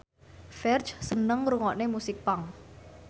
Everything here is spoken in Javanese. Ferdge seneng ngrungokne musik punk